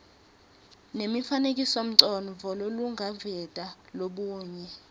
nemifanekisomcondvo lolungaveta lubuye